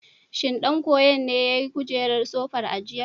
Shin ɗan koyon ne ya yi kujerar sofar a jiya?